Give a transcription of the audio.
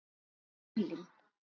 í Berlín.